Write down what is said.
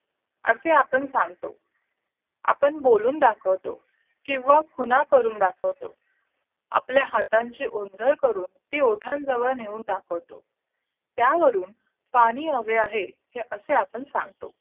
असे आपण सांगतो आपण बोलून दाखवतो किंवा पुन्हा करून दाखवतो आपल्या हातांची ओंजळ करून ती ओठांजवळ नेऊन दाखवतो त्यावरून पाणी हवे आहे हे असे आपण सांगतो